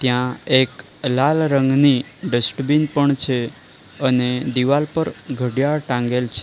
ત્યાં એક લાલ રંગની ડસ્ટબીન પણ છે અને દિવાલ પર ઘડિયાળ ટાંગેલ છે.